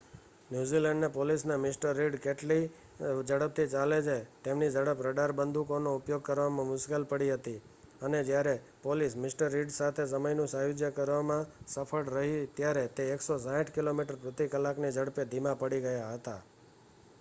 New Zealand પોલીસને Mr. Reid કેટલી ઝડપથી ચાલે છે તેમની ઝડપ રડાર બંદૂકોનો ઉપયોગ કરવામાં મુશ્કેલી પડી હતી અને જ્યારે પોલીસ મિ. રિડ સાથે સમયનું સાયુજ્ય કરવામાં સફળ રહી ત્યારે તે 160કિમી/ક ની ઝડપે ધીમાં પડી ગયા હતા